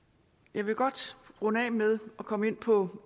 jeg vil godt runde af med at komme ind på